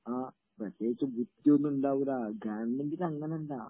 ആ, പ്രത്യേകിച്ച് ബുദ്ധിയൊന്നുമുണ്ടാവൂലാ...ഗവൺമെന്റിൽ അങ്ങനെയല്ലാ...